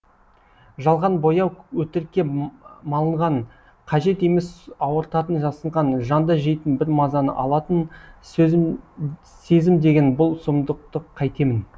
жалған бояу өтірікке малынған қажет емес ауыртатын жасынған жанды жейтін бар мазаны алатын сезім деген бұл сұмдықты қайтемін